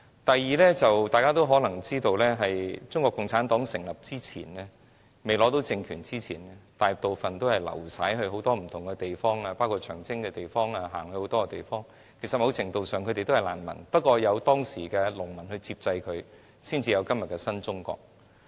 第三點，眾所周知，在中國共產黨在未取得政權之前，大部分黨員都流徙在不同地方，包括長征時走過很多地方，其實某程度上他們也是難民，只是他們當時得到了農民接濟，才得以有今天的新中國。